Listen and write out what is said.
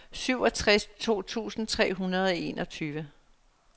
syvogtres tusind tre hundrede og enogtyve